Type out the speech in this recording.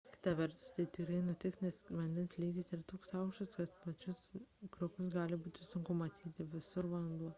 kita vertus taip tikrai nutiks nes vandens lygis yra toks aukštas kad pačius krioklius gali būti sunku pamatyti – visur vanduo